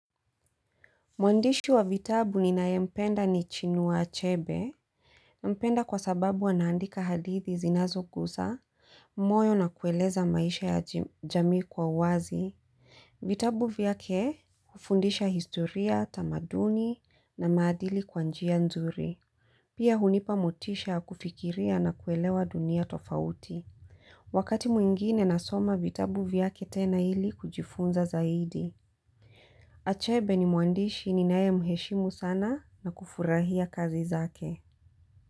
Mwandishi wa vitabu ni nayempenda ni Chinua Achebe. Nampenda kwa sababu anaandika hadithi zinazo guza, moyo na kueleza maisha ya jamii kwa uwazi. Vitabu vyake hufundisha historia, tamaduni na madili kwa njia nzuri. Pia hunipa motisha kufikiria na kuelewa dunia tofauti. Wakati mwingine nasoma vitabu vyake tena ili kujifunza zaidi. Achebe ni muandishi ninaye muheshimu sana na kufurahia kazi zake.